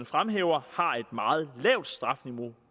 fremhæver har et meget lavt strafniveau